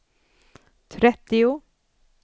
trettio